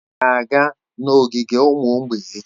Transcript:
Ị ga-aga n'ogige ụmụ mgbei echi.